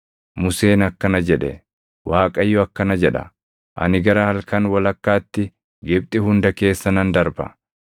Museen akkana jedhe; “ Waaqayyo akkana jedha; ‘Ani gara halkan walakkaatti Gibxi hunda keessa nan darba.